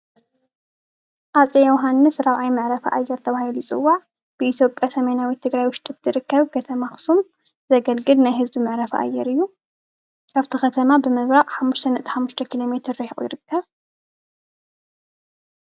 ሃፀይ ዮሃንስ ራብዓይ መዕረፊ ኣየር ተባሂሉ ይፅዋዕ ን ኢትዮጵያ ሰሜናዊት ትግራይ ውሽጢ ትርከብ ከተማ ኣክሱም ዘገልግል ናይ ህዝቢ መዕረፊ ኣየር እዩ:: ካብቲ ከተማ ብምብራቅ ሓሙሽተ ነጥቢ ሓሙሽተ ኪሎሜትር ርሒቁ ይርከብ ።